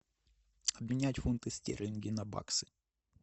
обменять фунты стерлинги на баксы